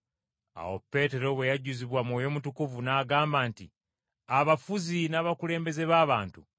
Awo Peetero bwe yajjuzibwa Mwoyo Mutukuvu n’agamba nti, “Abafuzi, n’abakulembeze b’abantu,